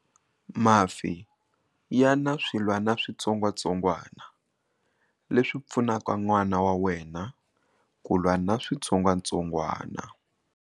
Mafi ya na swilwanaswitsongwatsongwana leswi pfunaka n'wana wa wena ku lwa na switsongwatsongwana.